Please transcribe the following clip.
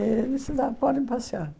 Eh disse lá, podem passear.